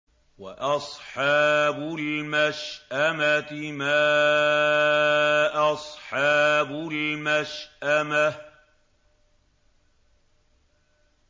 وَأَصْحَابُ الْمَشْأَمَةِ مَا أَصْحَابُ الْمَشْأَمَةِ